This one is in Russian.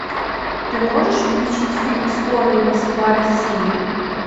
ты можешь включить фильм скорый москва россия